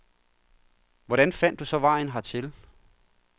Hvordan fandt du så vejen hertil?